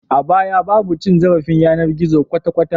A baya babu cin zarafin yanar gizo kwata kwata